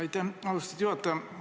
Aitäh, austatud juhataja!